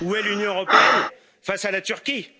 Où est l'Union européenne face à la Turquie?